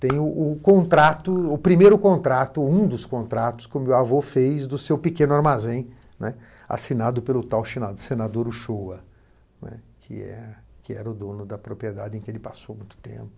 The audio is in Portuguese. Tem o o contrato, o primeiro contrato, um dos contratos que o meu avô fez do seu pequeno armazém, né, assinado pelo tal shena, senador Ushua, né, que é que era o dono da propriedade em que ele passou muito tempo.